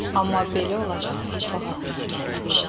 Amma belə olacağı heç vaxt ağlına gəlməmişdi.